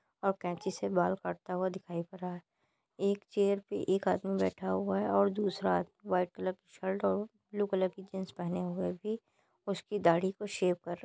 और कैंची से बाल काटता हुआ दिखाई पड़ रहा है एक चेयर पे एक आदमी बैठा हुआ है और दूसरा आदमी व्हाइट कलर की शर्ट और ब्लू कलर की जींस पहने हुए भी उसकी दाढ़ी को शेव कर रहा है।